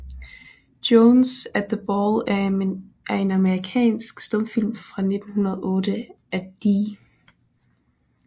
Jones at the Ball er en amerikansk stumfilm fra 1908 af D